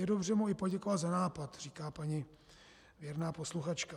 Je dobře mu i poděkovat za nápad, říká paní věrná posluchačka.